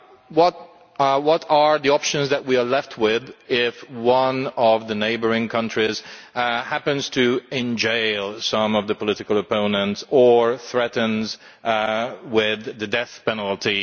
What are the options that we are left with if one of the neighbouring countries happens to imprison some political opponents or threaten them with the death penalty?